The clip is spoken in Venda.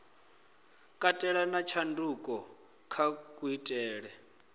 katela na tshanduko kha kuitele